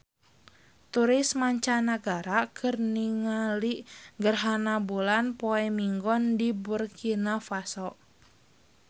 Turis mancanagara keur ningali gerhana bulan poe Minggon di Burkina Faso